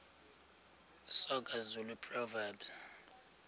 soga zulu proverbs